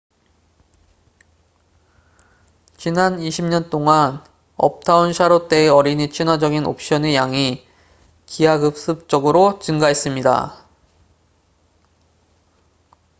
지난 20년 동안 uptown charlotte의 어린이 친화적인 옵션의 양이 기하급수적으로 증가했습니다